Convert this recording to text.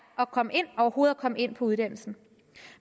overhovedet at komme ind på uddannelsen